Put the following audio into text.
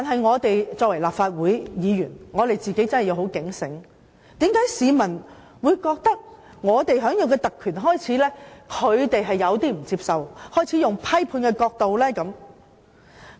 我們作為立法會議員，確實要警醒，為何市民會認為我們享有的特權，令他們感到不能接受，因而用批判角度看這些特權？